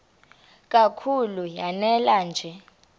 kakhulu lanela nje